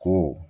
Ko